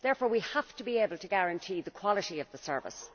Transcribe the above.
Therefore we have to be able to guarantee the quality of the service.